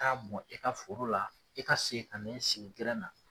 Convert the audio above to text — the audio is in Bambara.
Taa bɔn i ka foro la, i ka segin ka n'i sigi na